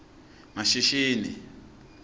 mashishini